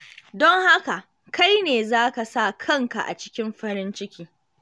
Don haka, kai ne za ka sa kanka a cikin farin ciki.